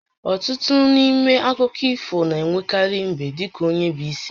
Ọtụtụ n'ime akụkọ ifona-enwekarị mbe dị ka onye bụ isi